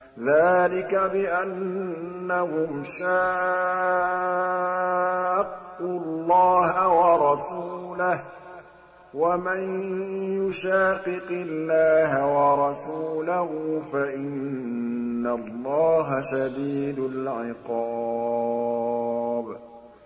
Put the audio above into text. ذَٰلِكَ بِأَنَّهُمْ شَاقُّوا اللَّهَ وَرَسُولَهُ ۚ وَمَن يُشَاقِقِ اللَّهَ وَرَسُولَهُ فَإِنَّ اللَّهَ شَدِيدُ الْعِقَابِ